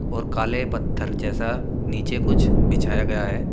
और काले पत्थर जैसा नीचे कुछ बिछाया गया है।